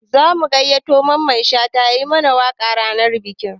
Za mu gayyato Mamman Shata ya yi mana waƙa ranar bikin